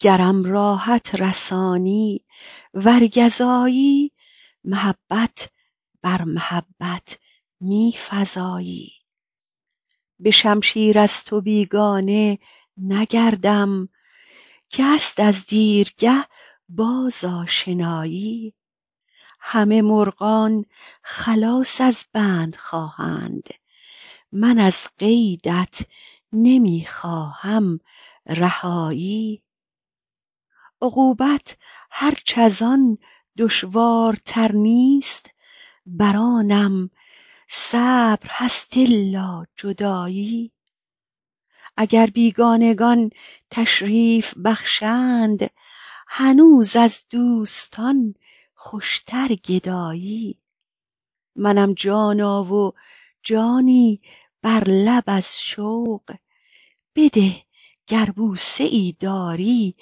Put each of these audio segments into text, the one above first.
گرم راحت رسانی ور گزایی محبت بر محبت می فزایی به شمشیر از تو بیگانه نگردم که هست از دیرگه باز آشنایی همه مرغان خلاص از بند خواهند من از قیدت نمی خواهم رهایی عقوبت هرچ از آن دشوارتر نیست بر آنم صبر هست الا جدایی اگر بیگانگان تشریف بخشند هنوز از دوستان خوشتر گدایی منم جانا و جانی بر لب از شوق بده گر بوسه ای داری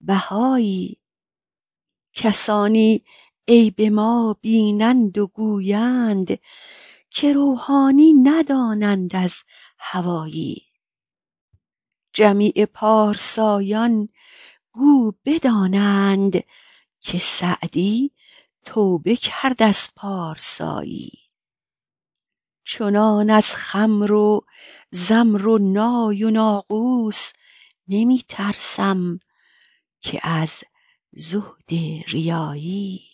بهایی کسانی عیب ما بینند و گویند که روحانی ندانند از هوایی جمیع پارسایان گو بدانند که سعدی توبه کرد از پارسایی چنان از خمر و زمر و نای و ناقوس نمی ترسم که از زهد ریایی